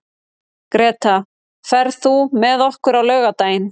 Greta, ferð þú með okkur á laugardaginn?